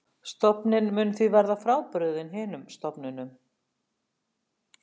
Stofninn mun því verða frábrugðinn hinum stofnunum.